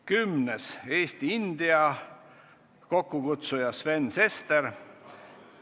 Kümnendaks, Eesti-India, kokkukutsuja on Sven Sester.